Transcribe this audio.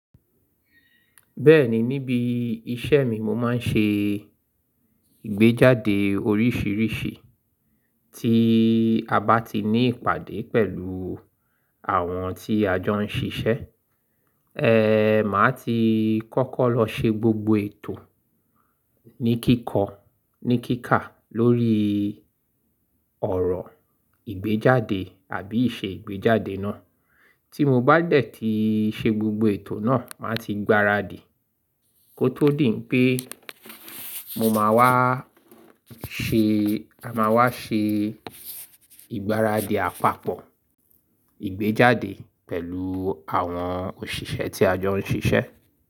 Bẹ́ẹ̀ni, níbi iṣẹ́ mi, mo máa ń ṣe ìgbéjáde oríṣìíríṣìí tí a bá ti ní ìpàdé pẹ̀lú àwọn tí a jọ ń ṣiṣẹ́. E, màá ti kọ́kọ́ lọ ṣe gbogbo ètò ní kíkọ́, ní kíkà lórí ọ̀rọ̀ ìgbéjáde àbí ise ìgbéjáde náà. Tí mo bá dẹ̀ tí ṣe gbogbo ètò náà, màá ti gbáradì kó tó dì pé mo máa wá ṣe, a máa wá ṣe ìgbáradì àpapọ̀ ìgbéjáde pẹ̀lú àwọn òṣìṣẹ́ tí a jọ ń ṣiṣẹ́